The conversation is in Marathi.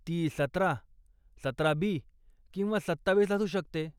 ती सतरा, सतरा बी किंवा सत्तावीस असू शकते.